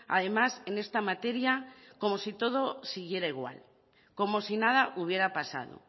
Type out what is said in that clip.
además en esta materia como si todo siguiera igual como si nada hubiera pasado